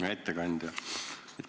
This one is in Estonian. Hea ettekandja!